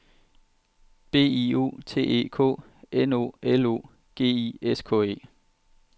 B I O T E K N O L O G I S K E